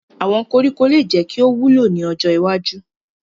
Awọn koriko le jẹ ki o wulo ni ojo iwaju